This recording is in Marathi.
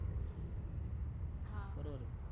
बरोबर आहे का?